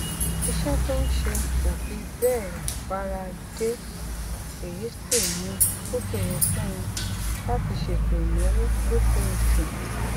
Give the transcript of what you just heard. iṣé tó ń ṣe kò fi béè bára dé èyí sì mú kó ṣòro fún un láti ṣètò ìnáwó lóṣooṣù